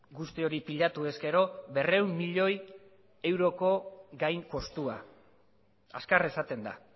guzti hori pilatu ezkero berrehun milioi euroko gain kostua azkar esaten da